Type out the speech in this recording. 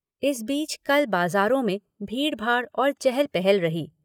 इस बीच कल बाज़ारो में भीड़ भाड़ और चहल पहल रही।